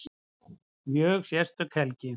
Mjög sérstök helgi